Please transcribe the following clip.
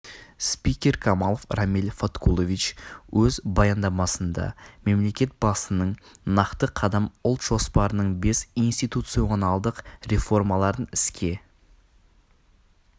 спикер камалов рамиль фаткулович өз баяндамасында мемлекет басның нақты қадам ұлт жоспарының бес институционалдық реформаларын іске